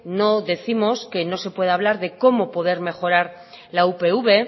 no décimos que no se pueda hablar de cómo poder mejorar la upv